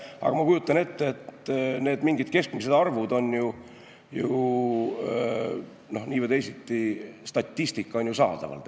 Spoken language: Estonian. Aga ma kujutan ette, et need mingid keskmised arvud või statistika on ju saadaval.